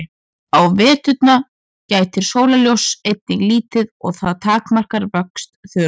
Á veturna gætir sólarljóss einnig lítið og það takmarkar vöxt þörunga.